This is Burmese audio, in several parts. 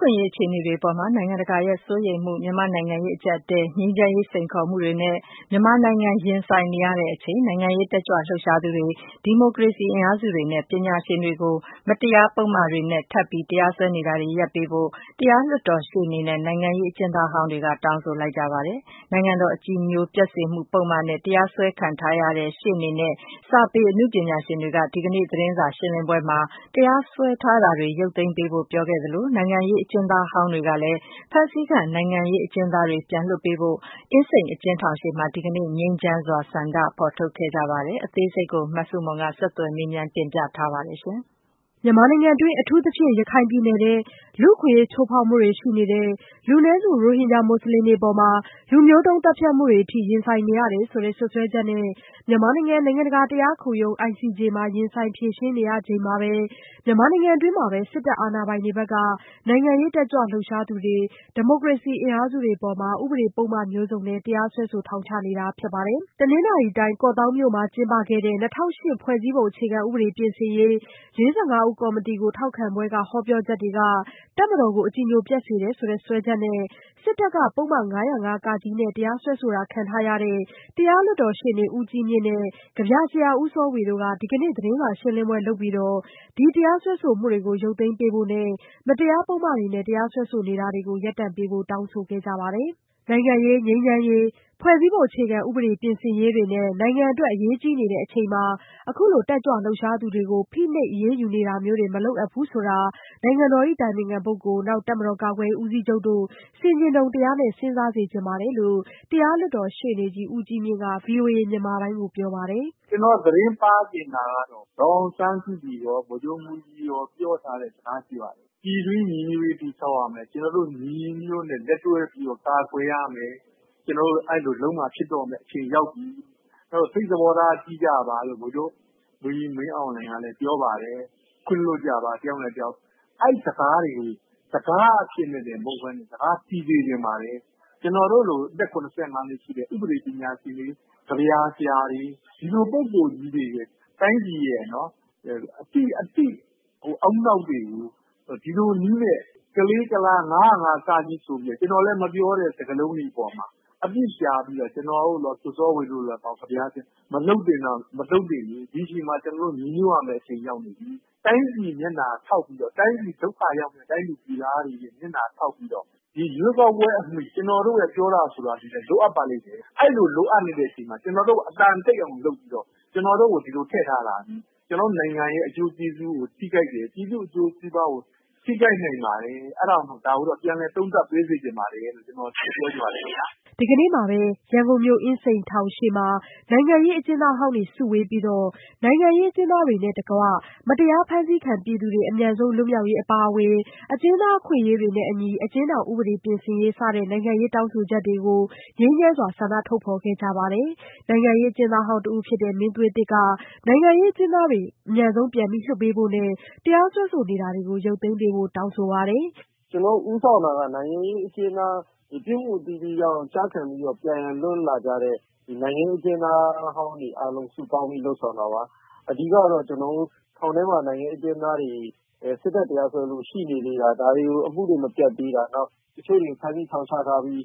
ခွင့်အရေး အခြေအနေအပေါ် နိုင်ငံတကာရဲ့စိုးရိမ်မှု၊ မြန်မာ့နိုင်ငံရေး အကျပ်အတည်း၊ ငြိမ်းချမ်းရေးစိန်ခေါ်မှုတွေနဲ့ မြန်မာနိုင်ငံ ရင်ဆိုင်နေရချိန် နိုင်ငံရေး တက်ကြွလှုပ်ရှားသူတွေ၊ ဒီမိုကရေစီအင်အားစုတွေနဲ့ ပညာရှင်တွေကို မတရားပုဒ်မတွေနဲ့ ထပ်ပြီး တရားစွဲဆိုနေတာတွေ ရပ်တန့်ပေးဖို့ တရားလွှတ်တော်ရှေ့နေနဲ့ နိုင်ငံရေးအကျဉ်းသားဟောင်းတွေက တောင်းဆိုလိုက်ပါတယ်။ နိုင်ငံတော်အကြည်ညိုပျက်စေမှု ပုဒ်မနဲ့ တရားစွဲဆိုခံထားရတဲ့ ရှေ့နေနဲ့ စာပေအနုပညာရှင်တွေက ဒီကနေ့ သတင်းစာရှင်းလင်းပွဲမှာ တရားစွဲဆိုမှုတွေ ရုပ်သိမ်းပေးဖို့ ပြောဆိုသလို နိုင်ငံရေးအကျဉ်းသားဟောင်းတွေကလည်း ဖမ်းဆီးခံ နိုင်ငံရေးအကျဉ်းသားတွေ ပြန်လွှတ်ပေးဖို့ ဒီကနေ့ အင်းစိန်အကျဉ်းထောင်ရှေ့ ငြိမ်းချမ်းစွာ ဆန္ဒထုတ်ဖော်ခဲ့ကြပါတယ်။ အသေးစိတ်ကို မဆုမွန်က ဆက်သွယ်မေးမြန်း တင်ပြပေးထားပါတယ်။ မြန်မာနိုင်ငံတွင်း အထူးသဖြင့် ရခိုင်ပြည်နယ်ထဲ လူ့အခွင့်အရေး ချိုးဖောက်မှုတွေ ရှိနေတယ်၊ လူနည်းစု ရိုဟင်ဂျာ မွတ်စလင်တွေ လူမျိုးတုံး သတ်ဖြတ်မှုတွေအထိ ရင်ဆိုင်နေရတယ်ဆိုတဲ့ စွပ်စွဲချက်နဲ့ မြန်မာနိုင်ငံ နိုင်ငံတကာတရားခုံရုံး ICJ မှာ ရင်ဆိုင်ဖြေရှင်းနေရချိန်မှာပဲ ရိုဟင်ဂျာဆိုတဲ့ အသုံးကို လက်ခံမထားတဲ့ မြန်မာနိုင်ငံတွင်းမှာပဲ စစ်တပ် အာဏာပိုင်တွေဘက်က နိုင်ငံရေး တက်ကြွလှုပ်ရှားသူတွေ၊ ဒီမိုကရေစီ အင်အားစုတွေအပေါ် ဥပဒေပုဒ်မမျိုးစုံနဲ့ တရားစွဲဆို ထောင်ချနေတာ ဖြစ်ပါတယ်။ တနင်္သာရီတိုင်း ကော့သောင်းမြို့မှာ ကျင်းပတဲ့ ၂၀၀၈ ဖွဲ့စည်းပုံပြင်ဆင်ရေး ၄၅ ဦး ကော်မတီကို ထောက်ခံပွဲက ဟောပြောချက်တွေဟာ တပ်မတော်ကို အကြည်ညိုပျက်စေတယ်ဆိုတဲ့ စွဲချက်နဲ့ စစ်တပ်က ပုဒ်မ ၅၀၅ (က) နဲ့ တရားစွဲဆိုတာ ခံထားရတဲ့ တရားလွှတ်တော်ရှေ့နေ ဦးကြီးမြင့်နဲ့ ကဗျာဆရာ ဦးစောဝေတို့က ဒီကနေ့ သတင်းစာရှင်းလင်းပွဲလုပ်ပြီး ဒီတရားစွဲဆိုမှုတွေကို ရုပ်သိမ်းပေးဖို့နဲ့ မတရားပုဒ်မတွေနဲ့ တရားစွဲဆိုမှုတွေကို ရပ်တန့်ပေးဖို့ တောင်းဆိုခဲ့ကြပါတယ်။ နိုင်ငံရေး ငြိမ်းချမ်းရေး ဖွဲ့စည်းပုံအခြေခံဥပဒေ ပြင်ဆင်ရေးတွေနဲ့ နိုင်ငံအတွက် အရေးကြီးချိန်မှာ အခုလို တက်ကြွလှုပ်ရှားသူတွေကို ဖိနှိပ်အရေးယူနေတာမျိုးတွေ မလုပ်အပ်ဘူးဆိုတာ နိုင်ငံတော်အတိုင်ပင်ခံပုဂ္ဂိုလ် နောက် တပ်မတော် ကာကွယ်ရေးဦးစီးချုပ်တို့ ဆင်ခြင်တုံတရားနဲ့ စဉ်းစားစေချင်တယ်လို့ တရားလွှတ်တော်ရှေ့နေကြီး ဦးကြီးမြင့်က ဗွီအိုအေမြန်မာပိုင်းကို ပြောပါတယ်။ “ကျနော် သတင်းပါးချင်တာကတော့ ဒေါ်အောင်ဆန်းစုကြည်ရော ဗိုလ်ချုပ်မှူးကြီးရော ပြောထားတဲ့စကား ရှိပါတယ်။ ပြည်တွင်းညီညွတ်ရေး တည်ဆောက်ရမယ်။ ကျနော်တို့ ညီညီညွတ်ညွတ်နဲ့ လက်တွဲပြီးတော့ ကာကွယ်ရမယ်။ ကျနော်တို့ အဲဒီလိုလုပ်မှ ဖြစ်တော့မယ့်အချိန် ရောက်ပြီ။ အဲတော့ စိတ်သဘောထား ကြီးကြပါလို့ ဗိုလ်ချုပ်မှူးကြီး မင်းအောင်လှိုင်ကလည်း ပြောပါတယ်။ ခွင့်လွှတ်ကြပါ တယောက်နဲ့တယောက်။ အဲဒီစကားတွေကို စကားအဖြစ်နဲ့တင် မဟုတ်ဘဲနဲ့ စကားတည်စေချင်ပါတယ်။ “ကျနော်တို့လို အသက် ၇၅ နှစ်ရှိတဲ့ ဥပဒေပညာရှင်တွေ၊ ကဗျာဆရာတွေ၊ ဒီလိုပုဂ္ဂိုလ်ကြီးတွေ တိုင်းပြည်ရဲ့အသိ ဦးနှောက်တွေကို ဒီလိုနည်းနဲ့ ကလေးကလား၊ ၅၀၅ (က) ဆိုပြီးတော့ ကျနော်လည်း မပြောတဲ့ စကားလုံးတွေအပေါ်မှာ အပြစ်ရှာပြီးတော့ ကျနော်တို့ရော ကိုစောဝေရော မလုပ်သင့်တာ မလုပ်သင့်ဘူး။ ဒီအချိန်မှာ ကျနော်တို့ ညီညွတ်ရမယ့်အချိန် ရောက်နေပြီ။ တိုင်းပြည်မျက်နှာထောက်ပြီး တိုင်းပြည်ဒုက္ခရောက်မယ့် တိုင်းသူပြည်သားတွေရဲ့မျက်နှာ ထောက်ပြီးတော့ ဒီရွေးကောက်ပွဲအမီ ကျနော်တို့ရဲ့ ပြောတာဆိုတာတွေလည်း လိုအပ်ပါလိမ့်မယ်။ အဲဒီလို လိုအပ်နေတဲ့အချိန်မှာ ကျနော်တို့ အသံတိတ်အောင် လုပ်ပြီးတော့ ကျနော်တို့ကို ဒီလိုထည့်ထားတာ ကျနော်တို့နိုင်ငံရဲ့ အကျိုးကျေးဇူးကို ထိခိုက်တယ်၊ ပြည်သူ့အကျိုးစီးပွားကို ထိခိုက်နိုင်ပါတယ်။ အဲဒါကြောင့် ဒါကိုတော့ ပြန်လည်သုံးသပ်ပေးစေချင်ပါတယ်လို့ ကျနော် ပြောချင်ပါတယ်။” ဒီကနေ့မှာပဲ ရန်ကုန်မြို့ အင်းစိန်အကျဉ်းထောင်ရှေ့မှာ နိုင်ငံရေး အကျဉ်းသားဟောင်းတွေ စုဝေးပြီး နိုင်ငံရေးအကျဉ်းသားတွေနဲ့တကွ မတရား ဖမ်းဆီးခံပြည်သူတွေ အမြန်ဆုံး လွတ်မြောက်ရေး အပါအဝင် အကျဉ်းသား အခွင့်အရေးတွေနဲ့အညီ အကျဉ်းထောင်ဥပဒေ ပြင်ဆင်ရေး စတဲ့ နိုင်ငံရေး တောင်းဆိုချက်တွေကို ငြိမ်းချမ်းစွာ ဆန္ဒထုတ်ဖော်ခဲ့ကြပါတယ်။ အင်းစိန်ထောင်ရှေ့က ဆန္ဒထုတ်ဖော်ပွဲမှာ ပါဝင်သူတဦးဖြစ်တဲ့ နိုင်ငံရေးအကျဉ်းသားဟောင်း တဦးဖြစ်တဲ့ မင်းသွေးသစ်က နိုင်ငံရေးအကျဉ်းသားတွေ အမြန်ဆုံး ပြန်လွှတ်ပေးဖို့နဲ့ တရားစွဲဆိုမှုတွေ ရုပ်သိမ်းပေးဖို့ တောင်းဆိုပါတယ်။ “ကျနော်တို့ဦးဆောင်တာက နိုင်ငံရေးအကျဉ်းသား ပြစ်မှုအသီးသီးကြောင့် ကျခံပြီးတော့ ပြန်လည်လွတ်လာကြတဲ့ နိုင်ငံရေးအကျဉ်းသားဟောင်းတွေ အားလုံး စုပေါင်းပြီး လုပ်ဆောင်တာပါ။ အဓိကတော့ ထောင်ထဲမှာ နိုင်ငံရေး အကျဉ်းသားတွေ စစ်တပ်တရားစွဲလို့ ရှိနေသေးတာ ဒါတွေကို အမှုတွေ မပြတ်သေးတာ၊ နောက် တချို့တွေ ဖမ်းဆီး ထောင်ချထားပြီး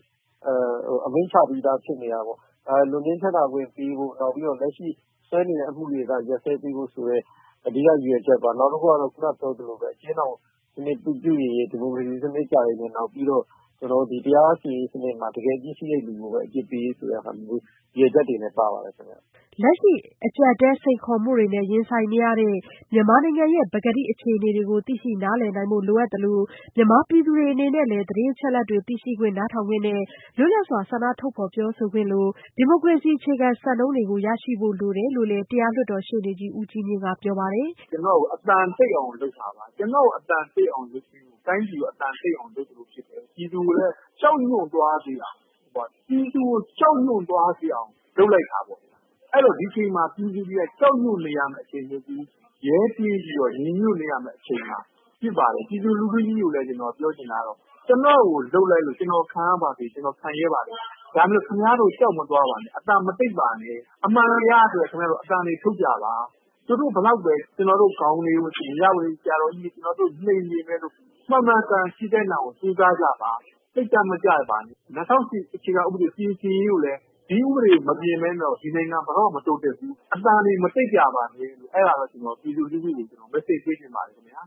အမိန့်ချပြီးသား ဖြစ်နေတာပေါ့၊ လွတ်ငြိမ်းချမ်းသာခွင့်ပေးဖို့။ နောက်ပြီး လက်ရှိ စွဲနေတဲ့ အမှုတွေက ရပ်စဲပေးဖို့ဆိုတဲ့ အဓိက ရည်ရွယ်ချက်ပေါ့။ နောက်တခုက အကျဉ်းထောင်စနစ် ပြုပြင်ရေး၊ ဒီမိုကရေစီစနစ်ကျရေးနဲ့ တရားစီရင်ရေးစနစ်မှာ တကယ်အပြစ်ရှိတဲ့သူကိုပဲ အပြစ်ပေးရေးဆိုတဲ့ ရည်ရွယ်ချက်တွေလည်း ပါပါတယ်။” လက်ရှိ အကျပ်အတည်း စိန်ခေါ်မှုတွေနဲ့ ရင်ဆိုင်နေရတဲ့ မြန်မာနိုင်ငံရဲ့ ပကတိ အခြေအနေတွေကို သိရှိနားလည်နိုင်ဖို့ လိုအပ်တယ်လို့ မြန်မာပြည်သူတွေ အနေနဲ့လည်း သတင်းအချက်အလက်တွေ သိရှိခွင့်၊ နားထောင်ခွင့်နဲ့ လွတ်လပ်စွာ ဆန္ဒထုတ်ဖော်ပြောဆိုခွင့်လို ဒီမိုကရေစီ အခြေခံစံနှုန်းတွေနဲ့အညီ ရရှိဖို့ လိုတယ်လို့လည်း တရားလွှတ်တော်ရှေ့နေကြီး ဦးကြီးမြင့်က ပြောပါတယ်။ “ကျနော့်ကို အသံတိတ်အောင် လုပ်တာပါ။ ကျနော့်ကို အသံတိတ်အောင်လုပ်တာ တိုင်းပြည်ကို အသံတိတ်အောင် လုပ်သလို ဖြစ်တယ်။ ပြည်သူကိုလည်း ကြောက်ရွံ့သွားစေအောင် လုပ်လိုက်တာပေါ့။ ဒီအချိန်မှာ ပြည်သူတွေက ကြောက်ရွံ့နေရမယ့်အချိန် မဟုတ်ဘူး။ ရဲတင်းပြီး ညီညွတ်နေရမယ့်အချိန် ဖြစ်ပါတယ်။ ပြည်သူလူထုကြီးကိုလည်း ကျနော်ပြောချင်တာက ကျနော့်ကိုလုပ်လိုက်လို့ ကျနော်ခံရပါစေ၊ ကျနော်ခံရဲပါတယ်။ ဒါပေမယ့် ခင်ဗျားတို့ ကြောက်မသွားပါနဲ့၊ အသံမတိတ်ပါနဲ့။ အမှန်တရားဆိုတဲ့ ခင်ဗျားတို့အသံတွေ ထုတ်ကြပါ။ သူတို့ ဘယ်လောက်ပဲ ကျနော်တို့ခေါင်တွေကို နှိမ်ပေမယ့်လို့ မှန်မှန်ကန်ကန် ဖြစ်သင့်တာကို ကြိုးစားကြပါ။ စိတ်ဓာတ်မကျပါနဲ့။ ၂၀၀၈ အခြေခံဥပဒေ ပြင်ဆင်ရေးကိုလည်း၊ ဒီဥပဒေ မပြင်ဘဲနဲ့တော့ ဒီနိုင်ငံ ဘယ်တော့မှ မတိုးတက်ဘူး။ အသံတွေ မတိတ်ကြပါနဲ့လို့ အဲဒါတော့ ကျနော် ပြည်သူလူထုကို Message ပေးချင်ပါတယ်။” မြန်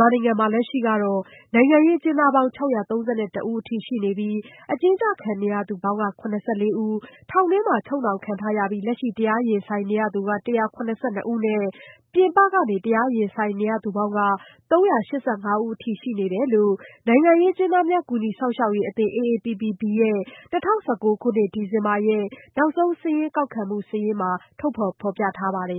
မာနိုင်ငံမှာ နိုင်ငံရေးအကျဉ်းသားပေါင်း ၆၃၁ ဦးအထိ ရှိနေပြီး အကျဉ်းချခံနေရသူပေါင်း ၇၄ ဦး၊ ထောင်တွင်းချုပ်နှောင်ထားပြီး လက်ရှိ တရားရင်ဆိုင်နေရသူ ၁၇၂ ဦးနဲ့ ပြင်ပကနေ တရားရင်ဆိုင်နေရသူပေါင်းက ၃၈၅ ဦးအထိ ရှိနေတယ်လို့ နိုင်ငံရေးအကျဉ်းသားများ ကူညီစောင့်ရှောက်ရေးအသင်း AAPPB ရဲ့ ၂၀၁၉ ခုနှစ် ဒီဇင်ဘာလရဲ့ နောက်ဆုံးစာရင်းကောက်ခံမှု စာရင်းမှာ ဖော်ပြထားပါတယ်